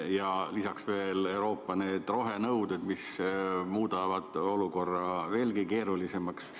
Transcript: Ja lisaks veel Euroopa rohenõuded, mis muudavad olukorra veelgi keerulisemaks.